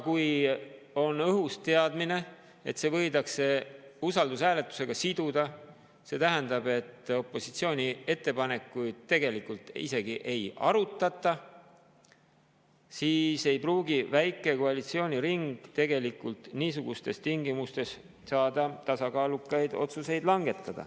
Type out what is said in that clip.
Kui on õhus teadmine, et see võidakse siduda usaldushääletusega, mis tähendab, et opositsiooni ettepanekuid tegelikult isegi ei arutata, siis niisugustes tingimustes ei pruugi väike koalitsiooniring langetada tasakaalukaid otsuseid.